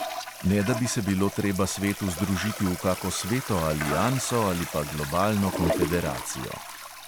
Ne da bi se bilo treba svetu združiti v kako sveto alianso ali pa globalno konfederacijo.